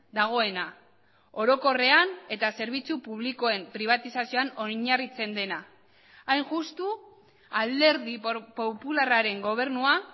dagoena orokorrean eta zerbitzu publikoen pribatizazioan oinarritzen dena hain justu alderdi popularraren gobernua